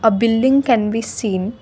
a building can be seen.